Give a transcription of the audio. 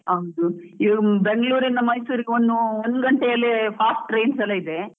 ಹೌದು, ಈವಾಗ ಬೆಂಗಳೂರಿಂದ ಮೈಸೂರಿಗೆ ಒಂದ್ ಗಂಟೆ ಅಲ್ಲೇ fast trains ಎಲ್ಲಾ ಇದೆ.